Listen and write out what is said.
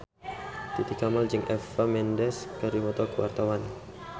Titi Kamal jeung Eva Mendes keur dipoto ku wartawan